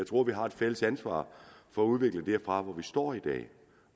tror vi har et fælles ansvar for at udvikle os herfra hvor vi står i dag